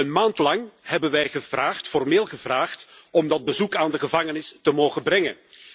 Een maand lang hebben wij formeel gevraagd om dat bezoek aan de gevangenis te mogen brengen.